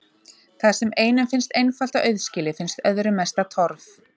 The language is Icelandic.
Það sem einum finnst einfalt og auðskilið finnst öðrum mesta torf.